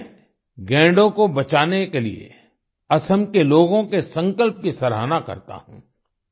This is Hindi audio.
मैं गैंडों को बचाने के लिए असम के लोगों के संकल्प की सरहाना करता हूँ